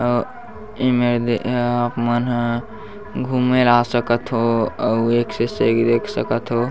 अ इमे आप मन ह घुमेल आ सकथ हो अउ एक से एक देख सकथ हो।